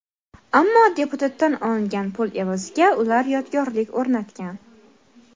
Ammo deputatdan olingan pul evaziga ular yodgorlik o‘rnatgan.